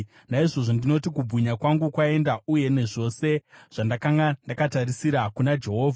Naizvozvo ndinoti, “Kubwinya kwangu kwaenda, uye nezvose zvandanga ndakatarisira kuna Jehovha.”